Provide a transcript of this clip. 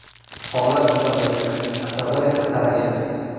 Holat juda murakkab, asablar esa tarang edi.